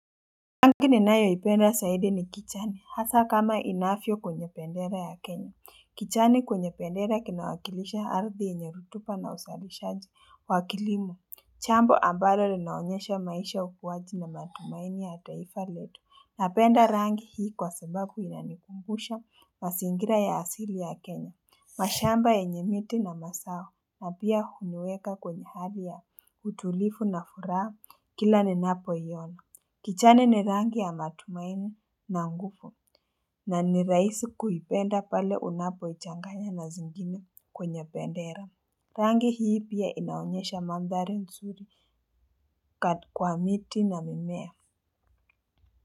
Rangi ninayoipenda zaidi ni kijani hasa kama inavyio kwenye bendera ya kenya kijani kwenye bendera kinawakilisha aradhi yenye rotuba na uzalishaji wa kilimo jambo ambalo linaonyesha maisha ukuwaji na matumaini ya taifa letu napenda rangi hii kwa sababu inanikumbusha mazingira ya asili ya kenya mashamba yenye miti na mazao na pia huniweka kwenye hali ya utulivu na furaha kila ni napo iona kijani ni rangi ya matumaini na nguvu na ni rahisi kuipenda pale unapoichanganya na zingine kwenye bendera Rangi hii pia inaonyesha mandhari nzuri kwa miti na mimea.